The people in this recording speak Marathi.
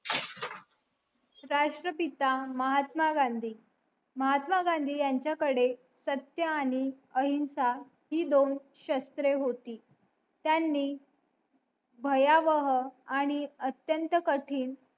राष्ट्र पिता महात्मा गांधी महात्मा गांधी ह्यांच्या कड नसत्या आणि अहिंसा हि दोन शास्त्रे होते त्यांनी भयावह अत्यंत कठीण